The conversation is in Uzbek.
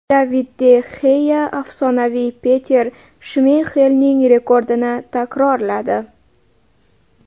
David de Xea afsonaviy Peter Shmeyxelning rekordini takrorladi.